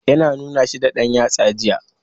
Ya na nuna shi da ɗan yatsa jiya.